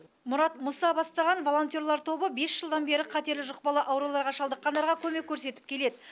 мұрат мұса бастаған волонтерлар тобы бес жылдан бері қатерлі жұқпалы ауруларға шалдыққандарға көмек көрсетіп келеді